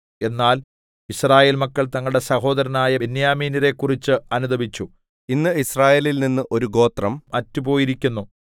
എന്നാൽ യിസ്രായേൽ മക്കൾ തങ്ങളുടെ സഹോദരന്മാരായ ബെന്യാമീന്യരെക്കുറിച്ച് അനുതപിച്ചു ഇന്ന് യിസ്രായേലിൽനിന്ന് ഒരു ഗോത്രം അറ്റുപോയിരിക്കുന്നു